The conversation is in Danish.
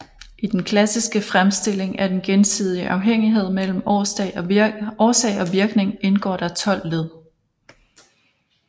I den klassiske fremstilling af den gensidige afhængighed mellem årsag og virkning indgår der 12 led